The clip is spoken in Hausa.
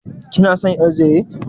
Kina son ƴar zire?